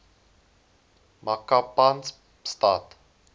makapanstad